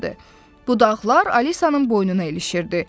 Budaqlar Alisanın boynuna ilişirdi.